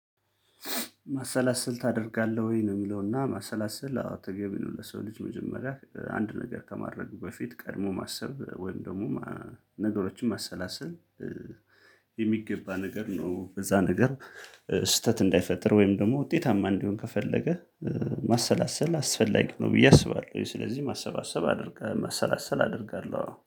ማሰላሰል ታደርጋለህ ወይ ነው? የሚለውና ማሰላሰል አዎ ተገቢ ነው ለሰው ልጅ መጀመሪያ አንድ ነገር ከማድረጉ በፊት ቀድሞ ማሰብ ወይም ደግሞ ነገሮችን ማሰላሰል። የሚገባ ነገር ነው በዛ ነገር ስህተት እንዳይፈጥር ወይም ደግሞ ውጤታማ እንዲሆን ከፈለገ ማሰላሰል አስፈላጊ ነው ብዬ አስባለሁ። ስለዚህ ማሰባሰብ አደርጋለሁ ማሰላሰል አደርጋለሁ